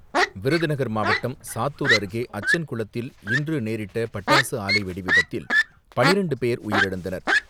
விருதுநகர் மாவட்டம் சாத்தூர் அருகே அச்சன் குளத்தில் இன்று நேரிட்ட பட்டாசு ஆலை வெடி விபத்தில் பன்னிரெண்டு பேர் உயிரிழந்தனர்.